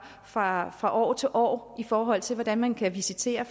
fra fra år til år i forhold til hvordan man kan visitere